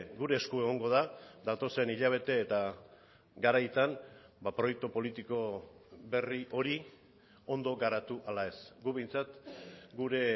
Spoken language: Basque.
gure esku egongo da datozen hilabete eta garaitan proiektu politiko berri hori ondo garatu ala ez guk behintzat gure